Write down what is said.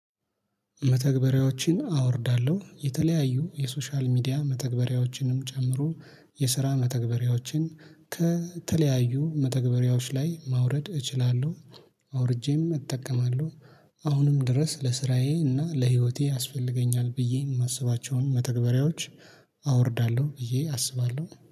መተግበሪያዎችን አወርዳለሁ የተለያዩ የሶሻል ሚዲያ መተግበሪያዎችንም ጨምሮ የስራ መተግበሪያዎችን ከተለያዩ መተግበሪያዎች ላይ ማውረድ እችላለሁ አውርጄም እጠቀማለሁ። አሁንም ድረስ ለስራዬ እና ለህይወቴ ያስፈልገኛል ብዬ የማስባቸውን መተግበሪያዎች አወርዳለሁ ብዬ አስባለሁ